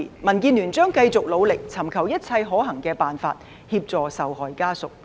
民建聯將繼續努力，尋求一切可行的辦法，協助受害者家屬。